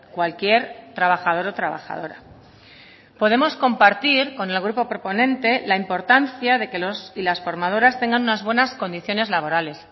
cualquier trabajador o trabajadora podemos compartir con el grupo proponente la importancia de que los y las formadoras tengan unas buenas condiciones laborales